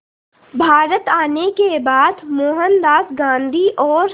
भारत आने के बाद मोहनदास गांधी और